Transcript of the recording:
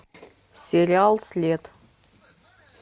сериал след